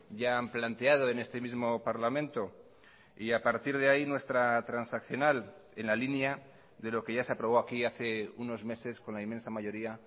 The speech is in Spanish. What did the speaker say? ya han planteado en este mismo parlamento y a partir de ahí nuestra transaccional en la línea de lo que ya se aprobó aquí hace unos meses con la inmensa mayoría